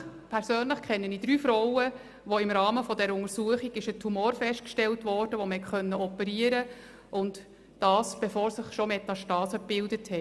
Persönlich kenne ich drei Frauen, bei denen im Rahmen der Untersuchungen ein Tumor festgestellt wurde und die dadurch operiert werden konnten, bevor sich Metastasen gebildet hatten.